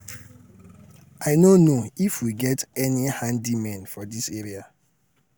i no know if we get any handymen for dis area.